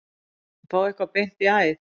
Að fá eitthvað beint í æð